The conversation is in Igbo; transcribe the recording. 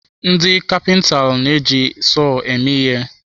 Ndị kapintalụ na-eji sọọ eme ihe.